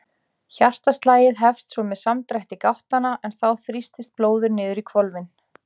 Hjartaslagið hefst svo með samdrætti gáttanna en þá þrýstist blóðið niður í hvolfin.